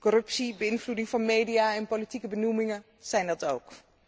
Corruptie, beïnvloeding van media en politieke benoemingen zijn dat ook.